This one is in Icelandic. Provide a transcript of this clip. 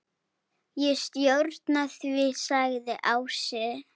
Ég stjórna því, sagði Ási.